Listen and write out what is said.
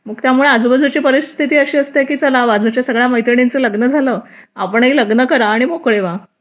मग त्यामुळे आजूबाजूची परिस्थिती अशी असते की चला बाजूच्या मुलीचं मैत्रिणीचं लग्न झालं आपणही लग्न करा आणि मोकळे व्हा